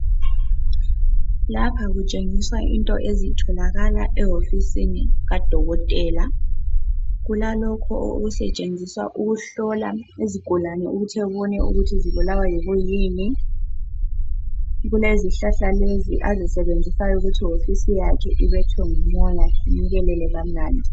Lapha kutshengiswa into ezitholakala ewofisini kadokotela. Kulalokho okusetshenziswa ukuhlola izigulane ukuthi ebone ukuthi zibulawa yikwiyini. Kulezihlahla lezi azisebenzisayo ukuthi iwofisi yakhe ibethwe ngumoya inukelele kamnandi.